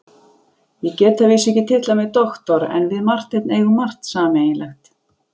Ég get að vísu ekki titlað mig doktor en við Marteinn eigum margt sameiginlegt.